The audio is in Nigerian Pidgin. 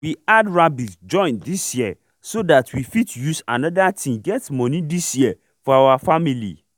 we add rabbit join this year so that we fit use another thing get money this year for our family